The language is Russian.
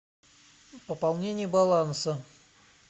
пополнение баланса